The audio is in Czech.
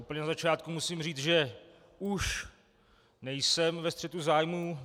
Úplně na začátku musím říct, že už nejsem ve střetu zájmů.